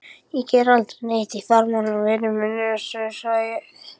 Ég geri aldrei neitt í fjármálum vinur minn Össur, sagði